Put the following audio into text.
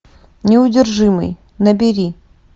неудержимый набери